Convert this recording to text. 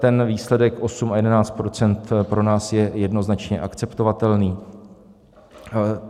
Ten výsledek 8 a 11 % pro nás je jednoznačně akceptovatelný.